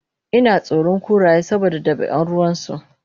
inatsoron kuraye saboda dabian ruwansu